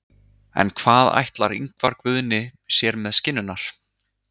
En hvað ætlar Ingvar Guðni sér með skinnurnar?